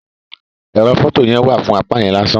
Ẹrọ fọto yẹn wa fún apá yẹn lásán.